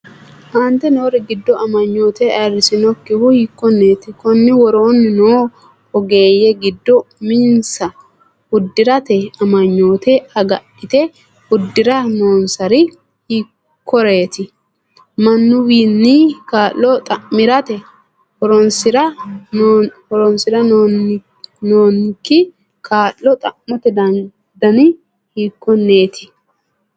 Aante noori giddo amanyoote ayirrisinokkihu hiikkonneeti? Konni woroonni noo ogeeyye giddo uminsa uddi’rate amanyoote agadhite uddi’ra noonsari hiikkoreeti? Mannuwiinni kaa’lo xa’mirate horoonsi’ra noonke kaa’lo xa’mate dani hiikkonneeti?